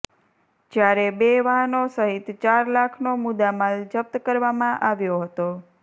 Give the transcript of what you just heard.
જ્યારે બે વાહનો સહિત ચાર લાખનો મુદ્દામાલ જપ્ત કરવામાં આવ્યો હતો